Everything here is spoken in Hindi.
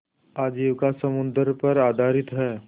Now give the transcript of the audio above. आजीविका समुद्र पर आधारित है